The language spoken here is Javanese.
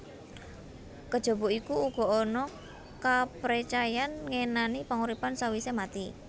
Kejaba iku uga ana kaprecayan ngenani panguripan sawisé mati